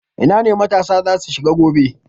Ina ne matasa za su shiga gobe?